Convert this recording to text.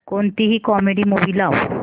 कोणतीही comedy movie लाव